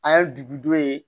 An ye dugu dɔ ye